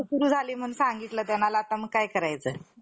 छेत्रपतीच्या हाती दिला नाही. व आपल्या रणभूमी सोडून एक पाऊलसुद्धा मागे हटला नाही.